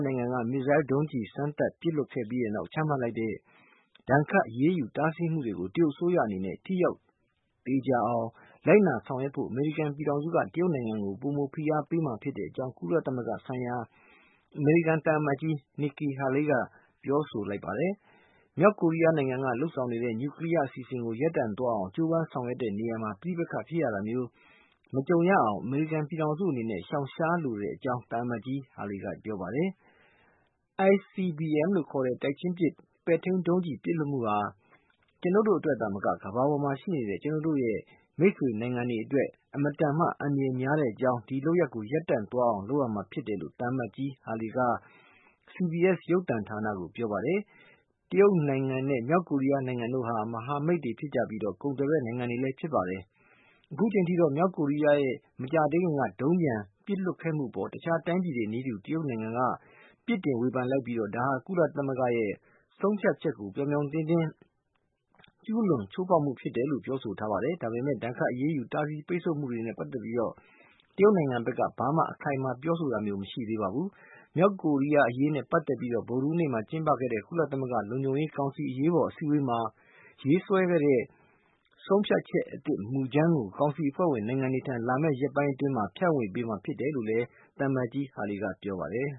နိုင်ငံက မစ်ဇိုင်းဒုံးကျည် စမ်းသပ်ပစ်လွှတ်ခဲ့ပြီးတဲ့နောက် ချမှတ်လိုက်တဲ့ ဒဏ်ခတ်အရေးယူ တားဆီးမှုတွေကို တရုတ်အစိုးရအနေနဲ့ ထိရောက်သေချာအောင် လိုက်နာဆောင်ရွက်ဖို့ အမေရိကန်ပြည်ထောင်စုက တရုတ်နိုင်ငံကို ပိုမိုဖိအားပေးမှာ ဖြစ်ကြောင်း ကုလသမဂ္ဂဆိုင်ရာ အမေရိကန် သံအမတ်ကြီး Nikki Haley က ပြောကြားလိုက်ပါတယ်။ မြောက်ကိုရီးယားနိုင်ငံက လုပ်ဆောင်နေတဲ့ နျူကလီးယား အစီအစဉ်ကို ရပ်တန့်သွားအောင် ကြိုးပမ်းဆောင်ရွက် တဲ့ နေရာမှာ ပဋိပက္ခဖြစ်ရတာမျိုး မကြုံရအောင် အမေရိကန်ပြည်ထောင်စုအနေနဲ့ ရှောင်ရှားလိုတဲ့အကြောင်း သံအမတ် Haley က ပြောပါတယ်။ ICBM လို့ ခေါ်တဲ့ ပဲ့ထိန်းတပ် ဆင့်ကဲဒုံးကျည် ပစ်လွှတ်မှု ဟာ ကျနုပ်တို့ အတွက်သာမက ကမ္ဘာပေါ်မှာရှိတဲ့ ကျနုပ်တို့ရဲ့ မိတ်ဆွေ နိုင်ငံတွေအတွက် အလွန်မတန်မှ အန္တရာယ်များကြောင်းနဲ့ ဒီလုပ်ရပ်ကို ရပ်တန့်သွားအောင် လုပ်ရမှာ ဖြစ်တယ်လို့ သံအမတ်ကြီး Haley က CBS ရုပ်သံဌာနကို ပြောပါတယ်။ တရုတ်နိုင်ငံနဲ့ မြောက်ကိုရီးယားနိုင်ငံ တို့ဟာ မဟာမိတ်တွေဖြစ်ကြပြီး ကုန်သွယ်ဖက်နိုင်ငံတွေ ဖြစ်ကြပါတယ်။ အခုချိန်အထိတော့ မြောက်ကိုရီးယားရဲ့ မကြာသေးခင်က ဒုံးပျံ ပစ်လွှတ်ခဲ့မှုအပေါ် တခြားတိုင်းပြည်တွေနည်းတူ တရုတ်နိုင်ငံက ပစ်တင်ဝေဖန်လိုက်ပြီး ဒါဟာ ကုလသမဂ္ဂဆုံးဖြတ်ချက်ကို ပြောင်ပြောင်တင်းတင်း ကျူးလွန်ချိုးဖေါက်မှု ဖြစ်တယ်လို့ ပြောဆိုထားပါတယ်။ ဒါပေမဲ့ ဒဏ်ခတ်အရေးယူ တားဆီးပိတ်ဆို့မှုတွေနဲ့ ပတ်သက်ပြီး တရုတ်နိုင်ငံဘက်က ဘာမှ အခိုင်အမာ ပြောဆိုတာမျိုး မရှိသေးပါဘူး။ မြောက်ကိုရီးယား အရေးနဲ့ပတ်သက်ပြီး ဗုဒဟူးနေ့မှာ ကျင်းပခဲ့တဲ့ ကုလသမဂ္ဂ လုံခြုံရေးကောင်စီ အရေးပေါ် အစည်းအဝေးမှာ ရေးဆွဲတဲ့ ဆုံးဖြတ်ချက်အသစ်မူကြမ်းကို ကောင်စီအဖွဲ့ဝင်နိုင်ငံတွေထံ လာမယ့် ရက်ပိုင်းအတွင်း ဖြန့်ဝေပေးမှာ ဖြစ်တယ်လို့ သံအမတ်ကြီး Haley ကပြောပါတယ်